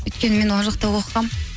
өйткені мен ол жақта оқығанмын